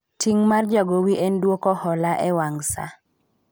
ting' mar jagowi en dwoko hola e wang saa